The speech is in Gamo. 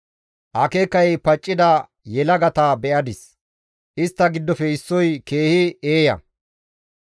Akeekay paccida yelagata be7adis. Istta giddofe issoy keehi eeya.